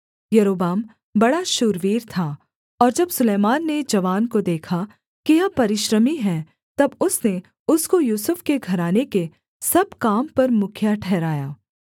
यारोबाम बड़ा शूरवीर था और जब सुलैमान ने जवान को देखा कि यह परिश्रमी है तब उसने उसको यूसुफ के घराने के सब काम पर मुखिया ठहराया